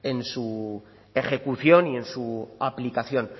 en su ejecución y en su aplicación